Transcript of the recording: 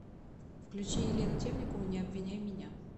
включи елену темникову не обвиняй меня